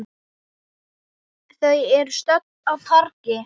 Þau eru stödd á torgi.